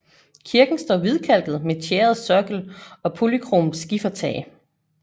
Kirken står hvidkalket med tjæret sokkel og polykromt skifertag